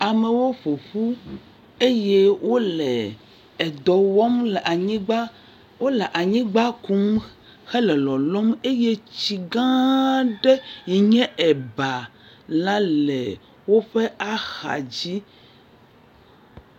Amewo ƒo ƒu eye wole edɔ wɔm le anyigba. Wole anyigba kum hele lɔlɔm eye tsigãaa ɖe yi nye ebaa la le woƒe axadzi.